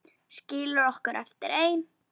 Skilur okkur eftir ein.